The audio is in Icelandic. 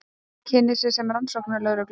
Kynnir sig sem rannsóknarlögreglumann.